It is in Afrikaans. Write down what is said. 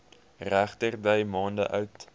regterdy maande oud